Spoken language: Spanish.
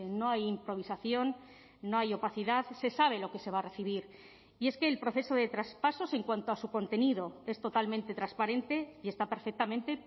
no hay improvisación no hay opacidad se sabe lo que se va a recibir y es que el proceso de traspasos en cuanto a su contenido es totalmente transparente y está perfectamente